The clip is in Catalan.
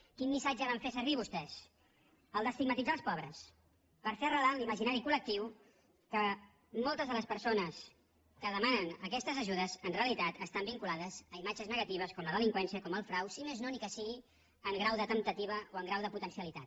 quin missatge van fer servir vostès el d’estigmatitzar els pobres per fer arrelar en l’imaginari col·lectiu que moltes de les persones que demanen aquestes ajudes en realitat estan vinculades a imatges negatives com la delinqüència com el frau si més no ni que sigui en grau de temptativa o en grau de potencialitat